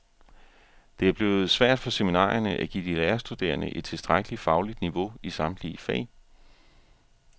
Det er blevet svært for seminarierne at give de lærerstuderende et tilstrækkeligt fagligt niveau i samtlige fag.